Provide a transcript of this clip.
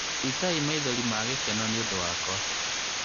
iitai maithori magĩkeno nĩũndũ wakwa